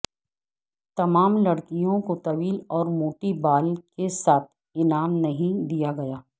تمام لڑکیوں کو طویل اور موٹی بال کے ساتھ انعام نہیں دیا گیا